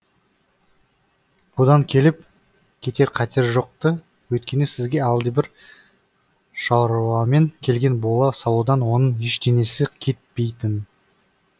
бұдан келіп кетер қатер жоқ ты өйткені сізге әлдебір шаруамен келген бола салудан оның ештеңесі кетпейтін